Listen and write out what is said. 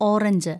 orange